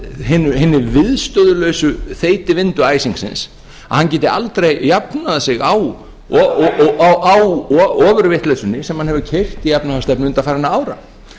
af hinni viðstöðulausu þeytivindu æsingsins að hann geti aldrei jafnað sig á ofurvitleysunni sem hann hefur keyrt í efnahagsstefnu undanfarinna ára